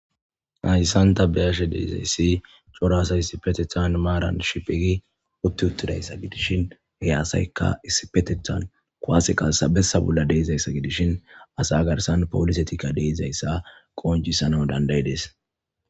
Haayisanta beyashe deezayssi coraasa isipetethan maaran shipigi utti uttidayssa gidishin hey aasaykka isipetethan koaaseqassabessa bolla deezayssa gidishin asa garsan poolise tika deizayssa qooncisanau dandayides.